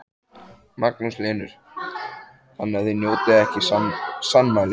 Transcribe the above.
Magnús Hlynur: Þannig að þið njótið ekki sannmælis?